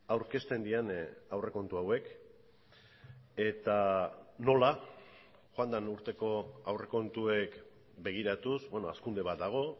aurkezten diren aurrekontu hauek eta nola joan den urteko aurrekontuek begiratuz beno hazkunde bat dago